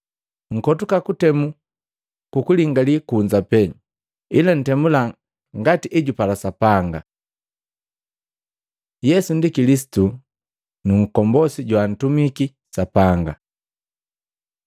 Nkotuka kutemu kukulingali kunza pee, ila ntemula ngati ejupala Sapanga.” Yesu ndi Kilisitu nkombose joantumiki Sapanga?